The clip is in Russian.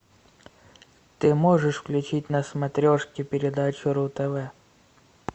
ты можешь включить на смотрешке передачу ру тв